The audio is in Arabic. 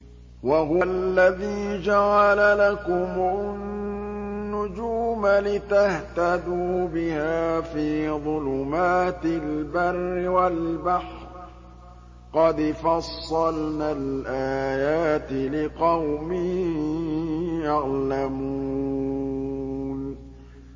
وَهُوَ الَّذِي جَعَلَ لَكُمُ النُّجُومَ لِتَهْتَدُوا بِهَا فِي ظُلُمَاتِ الْبَرِّ وَالْبَحْرِ ۗ قَدْ فَصَّلْنَا الْآيَاتِ لِقَوْمٍ يَعْلَمُونَ